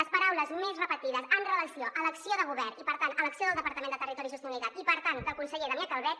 les paraules més repetides amb relació a l’acció de govern i per tant a l’acció del departament de territori i sostenibilitat i per tant del conseller damià calvet